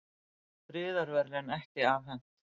Friðarverðlaun ekki afhent